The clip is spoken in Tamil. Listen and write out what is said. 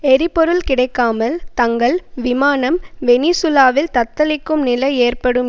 எரிபொருள் கிடைக்காமல் தங்கள் விமானம் வெனிசூலாவில் தத்தளிக்கும் நிலை ஏற்படும்